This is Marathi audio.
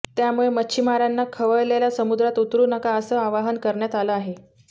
त्यामुळे मच्छिमारांना खवळलेल्या समुद्रात उतरू नका असं आवाहन करण्यात आलं आहे